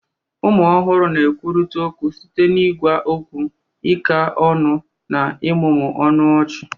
Ụmụ ọhụrụ na-ekwurịta okwu site n'ịgwa okwu, ịka ọnụ, na ịmụmụ ọnụ ọchị.